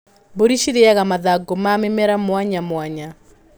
Mbũri cirĩaga mathangũ ma mĩmera mwanya mwanya.